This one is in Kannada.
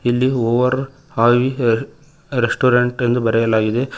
ಇಲ್ಲಿ ಓವರ್ ಹಾವಿ ಅ ರೆಸ್ಟೋರೆಂಟ್ ಎಂದು ಬರೆಯಲಾಗಿದೆ.